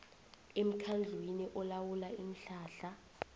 emkhandlwini olawula iinhlahla